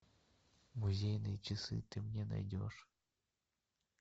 музейные часы ты мне найдешь